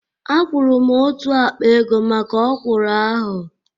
A kwuru m otú akpa ego maka ọ̀kwụ́rụ́ ahu